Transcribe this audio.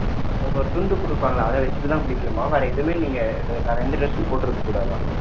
அவங்க ஒரு துண்டு கொடுப்பாங்க அதை வச்சிட்டு தான் குளிக்கணுமா வேற எதுவுமே நீங்க வேற எந்த dress சும் போட்டுருக்க கூடாதாம்